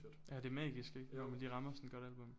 Ja det er magisk ik når man lige rammer sådan et godt album